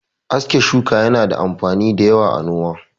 Aske shuka yana da amfani da yawa a noma.